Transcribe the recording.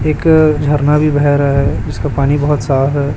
एक झरना भी बेह रहा है उसका पानी बहुत साफ है।